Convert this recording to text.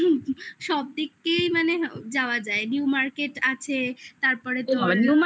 সবদিক দিয়েই মানে যাওয়া যায় new market আছে তারপরে তো